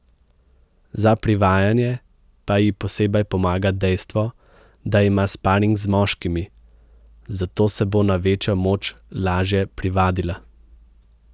Za privajanje pa ji posebej pomaga dejstvo, da ima sparing z moškimi, zato se bo na večjo moč lažje privadila.